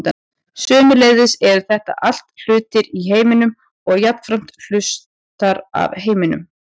sömuleiðis eru þetta allt hlutir í heiminum og jafnframt hlutar af heiminum